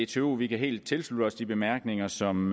dtu vi kan helt tilslutte os de bemærkninger som